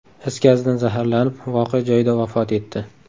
is gazidan zaharlanib, voqea joyida vafot etdi.